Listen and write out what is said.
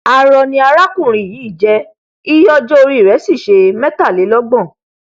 arọ ni alákùnrin yìí jẹ iye ọjọ orí i rẹ sì nṣe mẹtàlélọgbọn